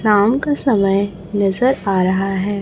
शाम का समय नजर आ रहा हैं।